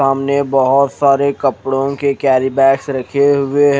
सामने बहोत सारे कपड़ो के केरीबेगस रखे हुए है।